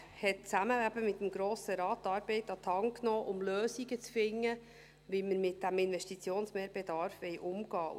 Der Regierungsrat hat, zusammen eben mit dem Grossen Rat, die Arbeit an die Hand genommen, um Lösungen zu finden, wie wir mit diesem Investitionsmehrbedarf umgehen wollen.